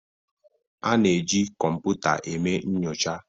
A na-eji kọmpụta eme nyocha